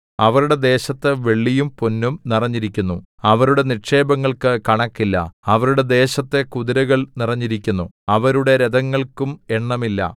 അവരുടെ ദേശത്തു വെള്ളിയും പൊന്നും നിറഞ്ഞിരിക്കുന്നു അവരുടെ നിക്ഷേപങ്ങൾക്കു കണക്കില്ല അവരുടെ ദേശത്തു കുതിരകൾ നിറഞ്ഞിരിക്കുന്നു അവരുടെ രഥങ്ങൾക്കും എണ്ണമില്ല